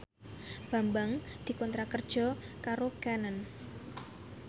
Bambang dikontrak kerja karo Canon